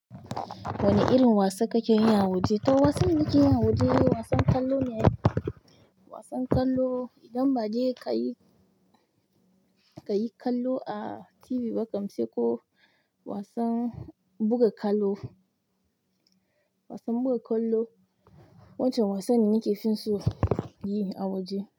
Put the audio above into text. Wani irin wasa kake yi a waje? To wasan da nike yi a waje wasan ƙwallo ne. Wasan ƙwallo idan bade kayi, kayi kallo a TV ba kam se ko wasan buga ƙwallo, wasan buga ƙwallo. Wancan wasan ne nake so yi a waje.